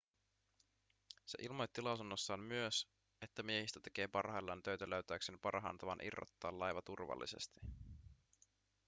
se ilmoitti lausunnossaan myös että miehistö tekee parhaillaan töitä löytääkseen parhaan tavan irrottaa laiva turvallisesti